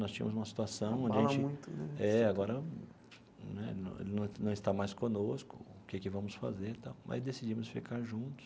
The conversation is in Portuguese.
Nós tínhamos uma situação onde a gente é agora né não não não está mais conosco, o que é que vamos fazer tal, mas decidimos ficar juntos.